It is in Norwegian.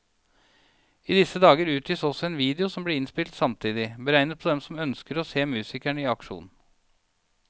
I disse dager utgis også en video som ble innspilt samtidig, beregnet på dem som også ønsker å se musikerne i aksjon.